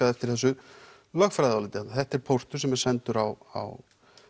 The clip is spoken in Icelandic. eftir þessu lögfræðiáliti þarna þetta er póstur sem er sendur á